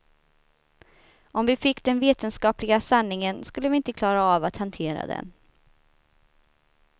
Om vi fick den vetenskapliga sanningen skulle vi inte klara av att hantera den.